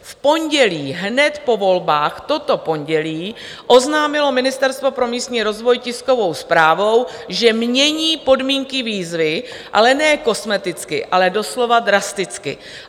V pondělí hned po volbách, toto pondělí oznámilo Ministerstvo pro místní rozvoj tiskovou zprávou, že mění podmínky výzvy, ale ne kosmeticky, ale doslova drasticky.